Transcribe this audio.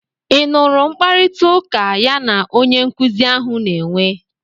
Ị nụrụ mkparịtaụka ya na onye nkuzi ahụ na-enwe?